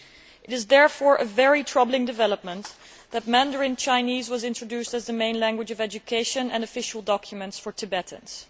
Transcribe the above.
It is therefore a very troubling development that Mandarin Chinese has been introduced as the main language of education and official documents for Tibetans.